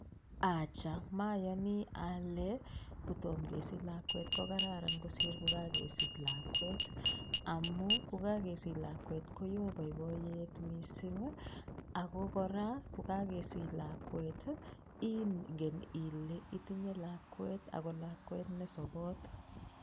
Acha mayoni ale kotomo kesich lakwet ko kararan kosir ko kakesich lakwet amu ko kakesich lakwet koyoo boiboiyet mising ako kora ko kakesich lakwet ingen ile itinyei lakwet ako lakwet ne sobot.